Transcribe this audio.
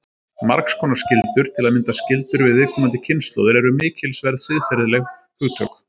Margs konar skyldur, til að mynda skyldur við komandi kynslóðir, eru mikilsverð siðferðileg hugtök.